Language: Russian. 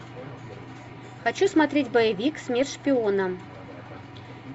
хочу смотреть боевик смерть шпионам